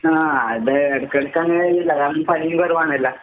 ആഹ് എടേ എടക്കെടക്കങ്ങനേണ്. അതാണെങ്കി പണീം കൊറവാണല്ലാ.